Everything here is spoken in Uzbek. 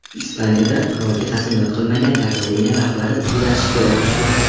Ispaniyada qirolga qasamyod qilmagan Kataloniya rahbari ustidan shikoyat tushdi.